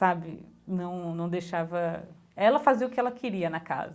Sabe, não não deixava... Ela fazia o que ela queria na casa.